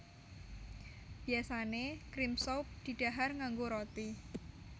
Biyasané cream soup didhahar nganggo roti